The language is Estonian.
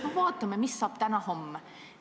Noh, vaatame, mis saab täna-homme.